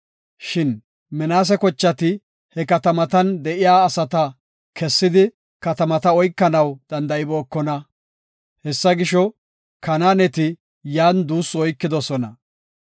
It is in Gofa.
Shin Minaase kochati he katamatan de7iya asata kessidi katamata oykanaw danda7ibookona. Hessa gisho, Kanaaneti yan duussi oykidosona.